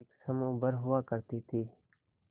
एक समूह भर हुआ करती थी